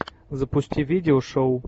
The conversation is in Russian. запусти видео шоу